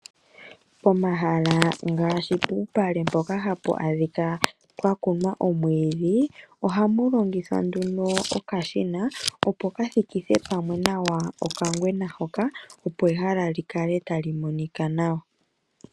Pomahala ngaashi puupale mpoka hapu adhikwa pwa kunwa omwiidhi , ohapu longithwa nduno okashina opo ka thikithe pamwe nawa okangwena hoka, opo ehala li kale tali monika nawa.